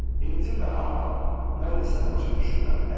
İncimə, amma mən də səni başa düşmürəm.